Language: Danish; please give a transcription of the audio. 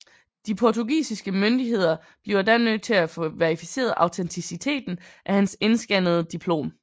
De portugisiske myndigheder bliver da nødt til at få verificeret autenticiteten af hans indskannede diplom